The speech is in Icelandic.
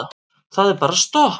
Það er bara stopp.